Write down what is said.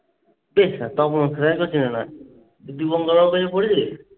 চিনে না। দীপন কাকার কাছে বলছিস?